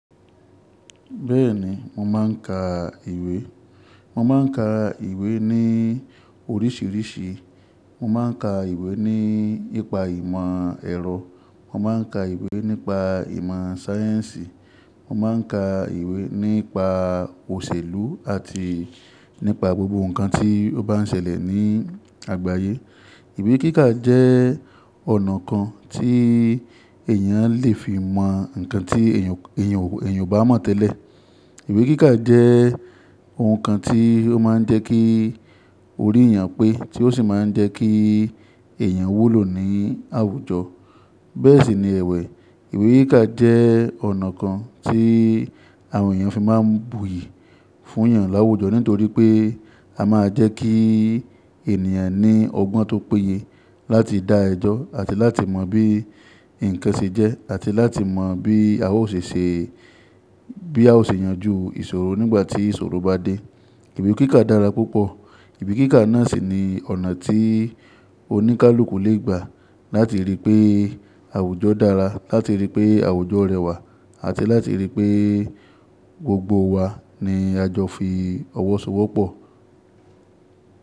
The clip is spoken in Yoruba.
Bẹ́ẹ̀ni, mo máà ń ka ìwé. Mo máa ń ka ìwé ní oríṣìíríṣìí. Mo máa ń ka ìwé ní ìpa ìmọ̀ ẹ̀rọ, mo máa ń ka ìwé nípa ìmọ̀ sáyẹ́ǹsì, mo máa ń ka ìwé nípa òṣèlú àti nípa gbogbo nǹkan tí ó bá ń ṣẹlẹ̀ ní àgbáyé. Ìwé kíkà jẹ́ ọ̀nà kan tí èyàn lè fi mọ nǹkan tí èyàn, èyàn, èyàn ò bá mọ̀ tẹ́lẹ̀. Ìwé kíkà jẹ́ ohun kan tí ó máa ń jẹ́ kí orí èyàn pé tí ó sì máa ń jẹ́ kí èyàn wúlò ní àwùjọ. Bẹ́ẹ̀ sì ni ẹ̀wẹ́. Ìwé kíkà jẹ́ ọ̀nà kan tí àwọn èyàn fi máa ń buyì fún èyàn láwùjọ nítorí pé a máa jẹ́ kí ènìyàn ní ọgbọ́n tó péye láti dá ẹjọ́ àti láti mọ bí nǹkan ṣe jẹ́ àti láti mọ bí a ó ṣe ṣe, bí a ó ṣe yanjú ìṣòro nígbà tí ìṣòro bá dé. Ìwé kíkà dára púpọ̀. Ìwé kíkà náà sì ni ọ̀nà tí oníkálukú le gbà láti ríi pé àwùjọ dára, láti ríi pé àwùjọ r'ẹwà àti láti ríi pé gbogbo wa ni a jọ fi ọwọ́ so'wọ́pọ̀.